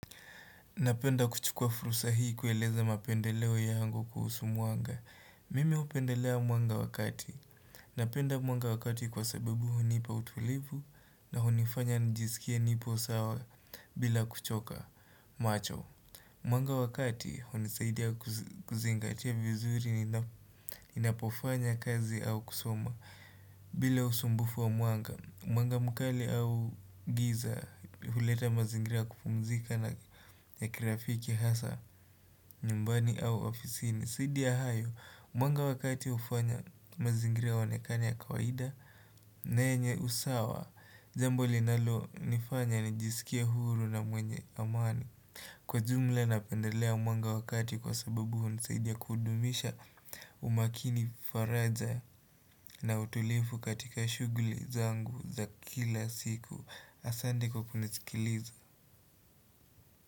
Napenda kuchukua fursa hii kueleza mapendeleo yangu kuhusu mwanga. Mimi hupendelea mwanga wa kati. Napenda mwanga wakati kwa sababu hunipa utulivu na hunifanya nijisikie nipo sawa bila kuchoka macho. Mwanga wa kati hunisaidia kuzingatia vizuri ninapofanya kazi au kusoma bila usumbufu wa mwanga. Mwanga mkali au giza huleta mazingira kupumzika na kirafiki hasa nyumbani au ofisi ni zaidi ya hayo Mwanga wa kati ufanya mazingira yaonekane ya kawaida na yenye usawa jambo linalo nifanya nijisikie huru na mwenye amani Kwa jumla napendelea mwanga wa kati kwa sababu hunisaidia kudumisha umakini faraja na utulivu katika shughuli zangu za kila siku asante kukunisikiliza.